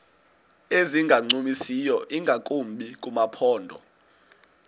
ezingancumisiyo ingakumbi kumaphondo